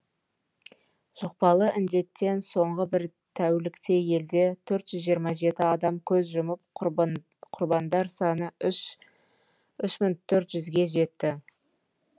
жұқпалы індеттен соңғы бір тәулікте елде торт жүз жиырма жеті адам көз жұмып құрбандар саны үш мың төрт жүзге ге жетті